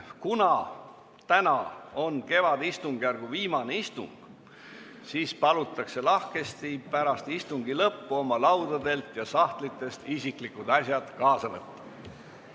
Kuna täna on kevadistungjärgu viimane istung, siis palutakse lahkesti pärast istungi lõppu oma laudadelt ja sahtlitest isiklikud asjad kaasa võtta.